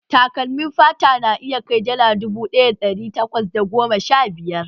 Takalmin fata na iya kai dala dubu ɗaya da ɗari takwas da goma sha biyar